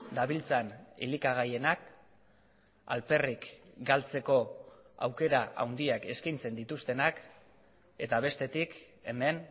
dabiltzan elikagaienak alperrik galtzeko aukera handiak eskaintzen dituztenak eta bestetik hemen